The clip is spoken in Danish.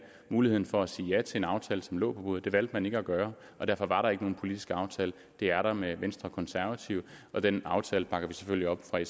muligheden for at sige ja til en aftale som lå på bordet det valgte man ikke at gøre og derfor var der ikke nogen politisk aftale det er der med venstre og konservative og den aftale bakker vi selvfølgelig op fra